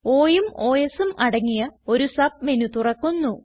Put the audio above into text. Oയും Osയും അടങ്ങിയ ഒരു സബ് മെനു തുറക്കുന്നു